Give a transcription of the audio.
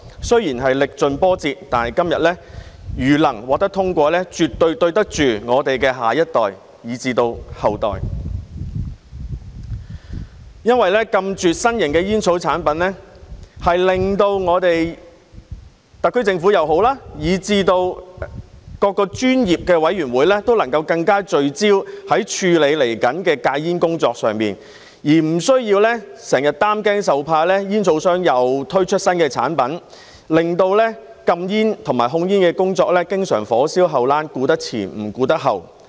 雖然是歷盡波折，但《條例草案》如能在今天獲得通過，我們絕對對得住我們的下一代以至後代，因為禁絕新型煙草產品，令特區政府以至各個專業委員會均能更聚焦處理未來的戒煙工作，無須整日擔驚受怕，恐怕煙草商又推出新產品，令禁煙和控煙工作經常"火燒後欄"，顧得了前面，卻顧不了後面。